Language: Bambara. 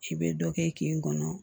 I bɛ dɔ kɛ kin kɔnɔ